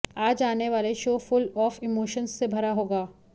आज आने वाला शो फुल ऑफ इमोशन्स से भरा होगा